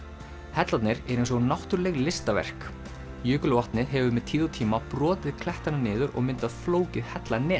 hellarnir eru eins og náttúruleg listaverk jökulvatnið hefur með tíð og tíma brotið klettana niður og myndað flókið